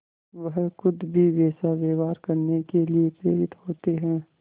वह खुद भी वैसा व्यवहार करने के लिए प्रेरित होते हैं